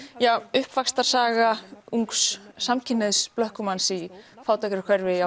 uppvaxtarsaga ungs samkynhneigðs blökkumanns í fátækrahverfi